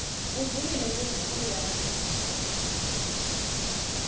uvumile kutsi uyati